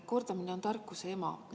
Kordamine on tarkuse ema.